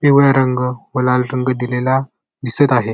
पिवळा रंग व लाल रंग दिलेला दिसत आहे.